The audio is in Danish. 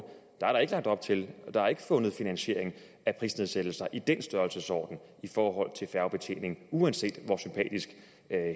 ikke er lagt op til og ikke fundet finansiering af prisnedsættelser i den størrelsesorden i forhold til færgebetjening uanset hvor sympatisk